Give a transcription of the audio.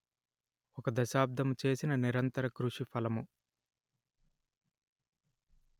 ఒక దశాబ్దము చేసిన నిరంతరకృషి ఫలము